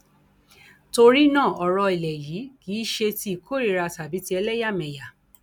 torí náà ọrọ ilé yìí kì í ṣe ti ìkóríra tàbí ti ẹlẹyàmẹyà